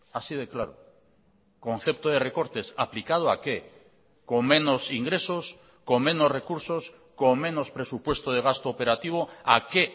así de claro concepto de recortes aplicado a qué con menos ingresos con menos recursos con menos presupuesto de gasto operativo a qué